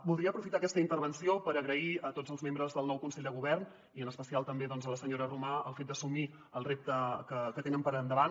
voldria aprofitar aquesta intervenció per agrair a tots els membres del nou consell de govern i en especial també a la senyora romà el fet d’assumir el repte que tenen per endavant